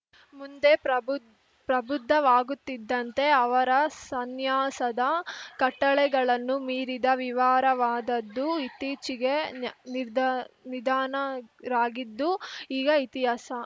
ಮುಂದೆ ಪ್ರಬುದ್ ಪ್ರಬುದ್ಧವಾಗುತ್ತಿದ್ದಂತೆ ಅವರ ಸನ್ಯಾಸದ ಕಟ್ಟಳೆಗಳನ್ನು ಮೀರಿದ ವಿವಾರವಾದದ್ದು ಇತ್ತೀಚೆಗೆ ನಿಧ ನಿಧನರಾಗಿದ್ದು ಈಗ ಇತಿಹಾಸ